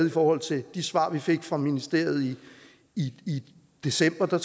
i forhold til de svar som vi fik fra ministeriet i i december for